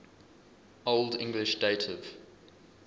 old english dative